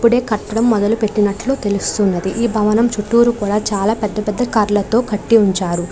ఇప్పుడే కట్టడం మొదలుపెట్టినట్లు తెలుస్తుంది. ఈ భవనం చుట్టూరు కూడా చాలా పెద్ద పెద్ద కార్లతో కట్టి ఉంచారు.